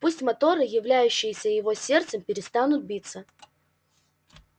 пусть моторы являющиеся его сердцем перестанут биться